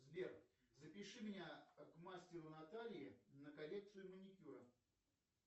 сбер запиши меня к мастеру наталье на коррекцию маникюра